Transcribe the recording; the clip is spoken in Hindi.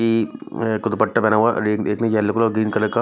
एक ऐ कोई दुपट्टा पहना हुआ एक ने येलो कलर ग्रीन कलर का --